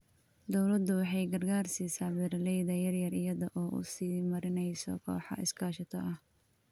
Dawladdu waxay gargaar siisaa beeralayda yaryar iyada oo u sii marinaysa kooxo iskaashato ah.